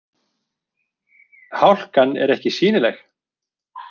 Hálkan er ekki sýnileg